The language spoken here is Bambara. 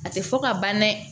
A tɛ fɔ ka ban dɛ